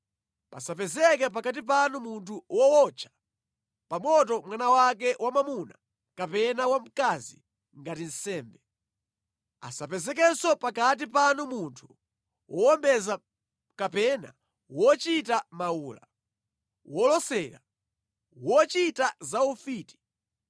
Pasapezeke pakati panu munthu wootcha pa moto mwana wake wamwamuna kapena wamkazi ngati nsembe. Asapezekenso pakati panu munthu wowombeza kapena wochita mawula, wolosera, wochita za ufiti,